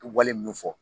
Wale min fɔ